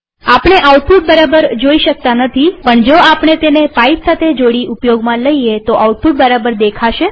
આપણે આઉટપુટ બરાબર જોઈ શકતા નથીપણ જો આપણે તેને પાઈપ સાથે જોડી ઉપયોગમાં લઈએ તોઆઉટપુટ બરાબર દેખાશે